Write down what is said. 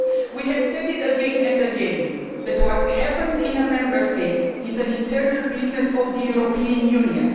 We have said again and again that what happens in a Member State is an internal business of the European Union.